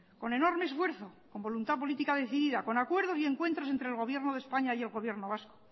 con enorme esfuerzo con voluntad política decidida con acuerdos y encuentros entre el gobierno de españa y el gobierno vasco